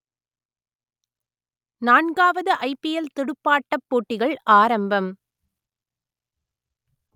நான்காவது I P L துடுப்பாட்டப் போட்டிகள் ஆரம்பம்